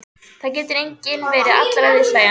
Það getur enginn verið allra viðhlæjandi.